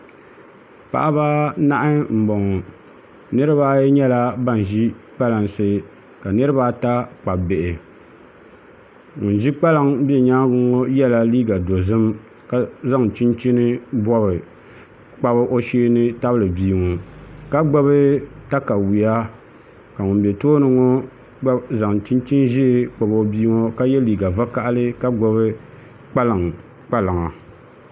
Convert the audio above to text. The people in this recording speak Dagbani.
Paɣaba anahi n boŋo niraba ayi nyɛla ban ʒi kpalansi ka niraba ata kpabi bihi ŋun ʒi kpalaŋ bɛ nyaangi ŋo yɛla liiga dozim ka zaŋ chinchin bobi kpabi o shee ni tabili bia ŋo ka gbubi katawiya ka ŋun bɛ tooni ŋo gba zaŋ chinchin ʒiɛ kpabi o bia ŋo ka yɛ liiga vakaɣali ka gbubi kpalaŋa